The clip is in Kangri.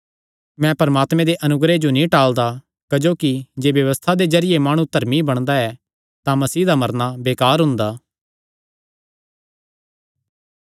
मैं परमात्मे दे अनुग्रह जो नीं टाल़दा क्जोकि जे व्यबस्था दे जरिये माणु धर्मी बणदा ऐ तां मसीह दा मरना बेकार हुंदा